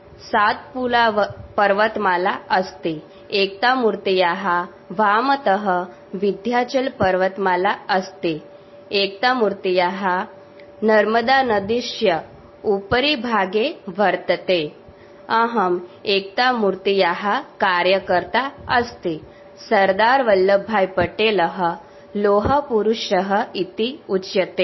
sound clip on Statue of unity